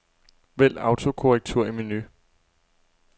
Vælg autokorrektur i menu.